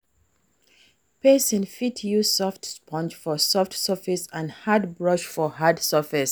Person fit use soft sponge for soft surface and hard brush for hard surface